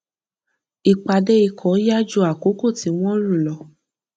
ìpàdé ikọ yá ju àkókò tí wọn rò lọ